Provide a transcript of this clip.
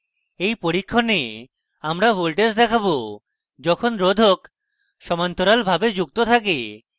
in পরীক্ষণে আমরা voltage দেখাবো যখন রোধক সমান্তরালভাবে যুক্ত থাকে